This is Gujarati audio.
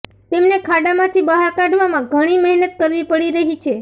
તેમને ખાડામાંથી બહાર કાઢવામાં ઘણી મહેનત કરવી પડી રહી છે